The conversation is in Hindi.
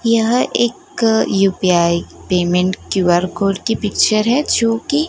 यह एक यू_पी_आई पेमेंट क्यू_आर कोड की पिक्चर है जो कि--